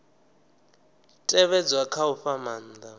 tevhedzwa kha u fha maanda